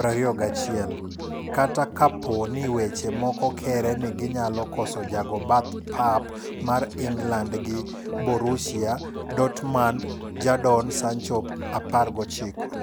21, kata kapo ni weche moko kere ni ginyalo koso jago bath pap mar England gi Borussia Dortmund Jadon Sancho, 19.